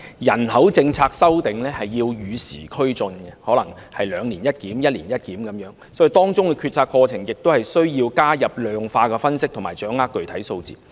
人口政策修訂要與時俱進，可能需要"兩年一檢"或"一年一檢"，所以當中的決策過程亦需要加入量化分析，以及掌握具體數字。